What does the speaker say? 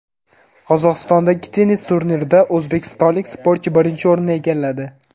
Qozog‘istondagi tennis turnirida o‘zbekistonlik sportchi birinchi o‘rinni egalladi.